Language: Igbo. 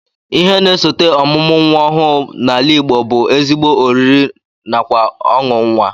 Ihe na-esote ọmụmụ nnwa ọhụụ n'ala Igbo bụ ezigbo oriri nakwa ọṅụ nnwa